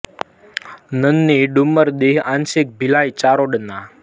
ન નિ ડુમર દીહ આંશિક ભિલાઈ ચારોડા ન